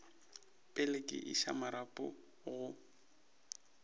pele ke iša marapo go